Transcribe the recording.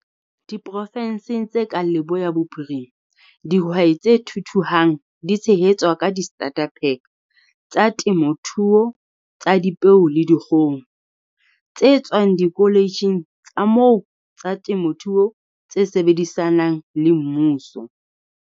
Diprofenseng tse kang Leboya Bophirima, dihwai tse thuthuhang di tshehetswa ka di-starter-pack tsa temothuo tsa dipeo le dikgoho, tse tswang dikoletjheng tsa moo tsa temothuo tse sebedisanang le mmuso.